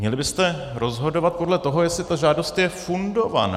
Měli byste rozhodovat podle toho, jestli ta žádost je fundovaná.